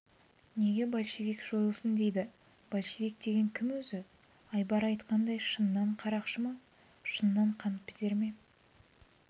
неге большевик жойылсын дейді большевик деген кім өзі айбар айтқандай шыннан қарақшы ма шыннан қаныпезер ме